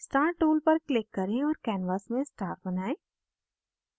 star tool पर click करें और canvas में star बनाएं